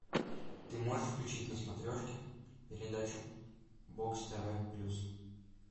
ты можешь включить на смотрешке передачу бокс тв плюс